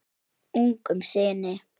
Ungum syni